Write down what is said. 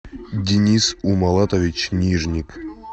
денис умалатович нижник